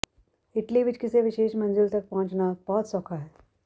Italy ਵਿਚ ਕਿਸੇ ਵਿਸ਼ੇਸ਼ ਮੰਜ਼ਿਲ ਤਕ ਪਹੁੰਚਣਾ ਬਹੁਤ ਸੌਖਾ ਹੈ